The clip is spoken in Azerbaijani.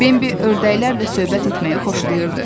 Bembi ördəklərlə söhbət etməyi xoşlayırdı.